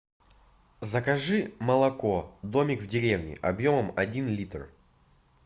закажи молоко домик в деревне объемом один литр